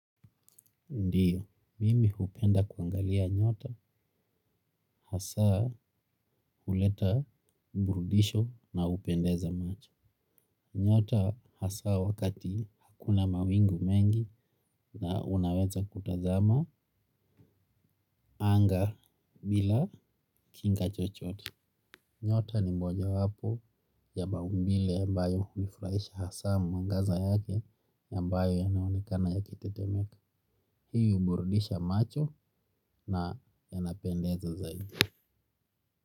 Ndio, mimi hupenda kuangalia nyota, hasa huleta mburudisho na hupendeza macho. Nyota hasa wakati hakuna mawingu mengi na unaweza kutazama anga bila kinga chochote. Nyota ni mojawapo ya maumbile ambayo hunifurahisha hasa mwangaza yake, ambayo yanaonekana yakitetemeka. Hii huburudisha macho na yanapendeza zaidi.